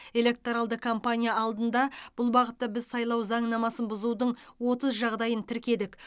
электоралды кампания алдында бұл бағытта біз сайлау заңнамасын бұзудың отыз жағдайын тіркедік